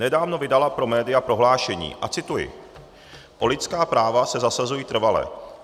Nedávno vydala pro média prohlášení, a cituji: O lidská práva se zasazuji trvale.